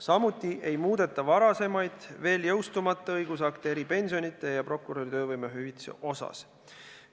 Samuti ei muudeta varasemaid, veel jõustumata eripensionide ja prokuröri töövõimehüvitise kohta käivaid õigusakte.